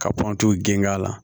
Ka kɔntiw geng'a la